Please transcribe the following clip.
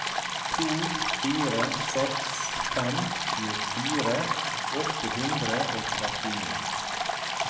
to fire seks fem tjuefire åtte hundre og trettini